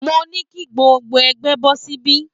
Mo ní kí gbogbo ẹgbẹ́ bọ́ síbí